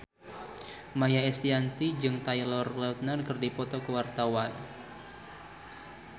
Maia Estianty jeung Taylor Lautner keur dipoto ku wartawan